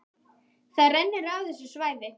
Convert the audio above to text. Það rennur af þessu svæði.